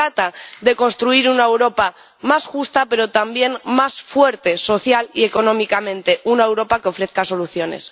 Se trata de construir una Europa más justa, pero también más fuerte social y económicamente, una Europa que ofrezca soluciones.